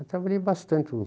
Eu trabalhei bastante, uns...